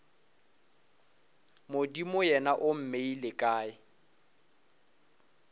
modimo yena o mmeile kae